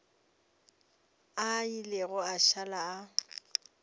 a ile a šala a